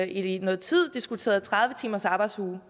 i noget tid diskuteret en tredive timers arbejdsuge